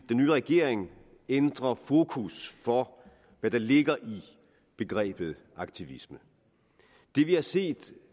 nye regering ændre fokus for hvad der ligger i begrebet aktivisme det vi har set